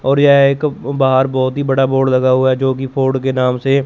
और यह एक बाहर बहोत ही बड़ा बोर्ड लगा हुआ है जो की फोर्ड के नाम से--